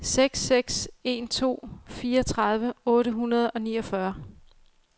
seks seks en to fireogtredive otte hundrede og niogfyrre